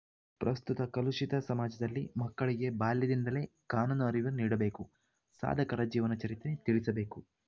ಪ್ರಸ್ತುತ ಕಲುಶಿತ ಸಮಾಜದಲ್ಲಿ ಮಕ್ಕಳಿಗೆ ಬಾಲ್ಯದಿಂದಲೇ ಕಾನೂನು ಅರಿವು ನೀಡಬೇಕು ಸಾಧಕರ ಜೀವನ ಚರಿತ್ರೆ ತಿಳಿಸಬೇಕು